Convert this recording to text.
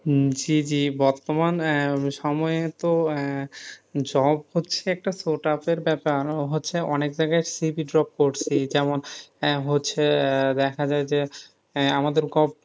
হম বর্তমান সময়ে তো আহ job হচ্ছে একটা বেপার হচ্ছে, হচ্ছে অনেক জায়গায় CV করছি, যেমন হচ্ছে দেখা যাই যে, আমাদের ,